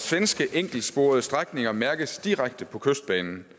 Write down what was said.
enkeltsporede strækninger mærkes direkte på kystbanen